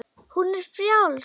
Hún er frjáls.